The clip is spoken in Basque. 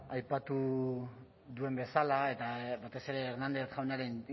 aipatu duen bezala eta batez ere hernández jaunaren